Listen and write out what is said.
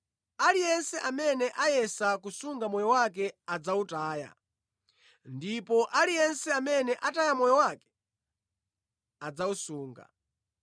Aliyense amene ayesetsa kusunga moyo wake adzawutaya, ndipo aliyense amene ataya moyo wake adzawusunga.